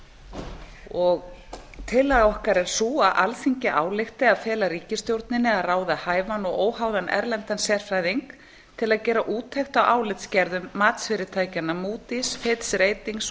ólína þorvarðardóttir tillaga okkar er sú að alþingi álykti að fela ríkisstjórninni að ráða hæfan og óháðan erlendan sérfræðing til að gera úttekt á álitsgerðum matsfyrirtækjanna moodys fitch ratings